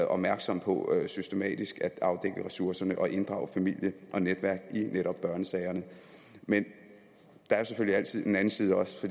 opmærksomme på systematisk at afdække ressourcerne og inddrage familie og netværk i netop børnesagerne men der er selvfølgelig altid en anden side også